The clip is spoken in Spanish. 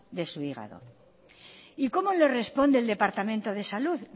de su hígado y como le responde el departamento de salud